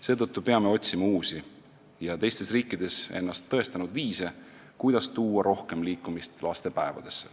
Seetõttu peame otsima uusi ja teistes riikides ennast tõestanud viise, kuidas laste päevadesse rohkem liikumist tuua.